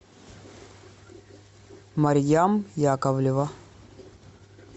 марьям яковлева